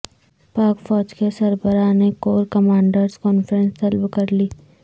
پاک فوج کے سربراہ نےکورکمانڈرز کانفرنس طلب کر لی